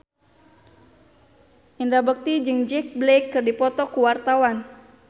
Indra Bekti jeung Jack Black keur dipoto ku wartawan